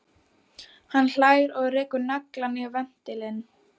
Hann hlær og rekur naglann í ventilinn.